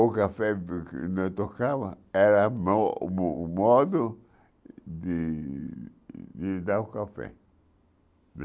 O café, porque, era mo o modo de dar o café.